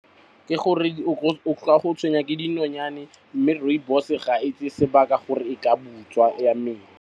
Ke gore o tla go tshwenya ke dinonyane mme rooibos ga e tseye sebaka gore e ka butswa ya mela.